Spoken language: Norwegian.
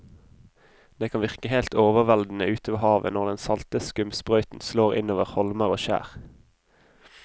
Det kan virke helt overveldende ute ved havet når den salte skumsprøyten slår innover holmer og skjær.